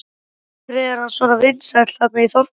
Af hverju er hann svona vinsæll þarna í þorpinu?